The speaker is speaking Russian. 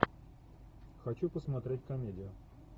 хочу посмотреть комедию